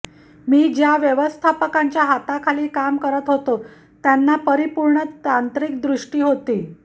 मी ज्या व्यवस्थापकांच्या हाताखाली काम करत होतो त्यांना परिपूर्ण तांत्रिक दृष्टी होते